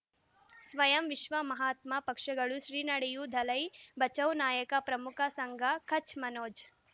ಸ್ವಯಂ ವಿಶ್ವ ಮಹಾತ್ಮ ಪಕ್ಷಗಳು ಶ್ರೀ ನಡೆಯೂ ದಲೈ ಬಚೌ ನಾಯಕ ಪ್ರಮುಖ ಸಂಘ ಕಚ್ ಮನೋಜ್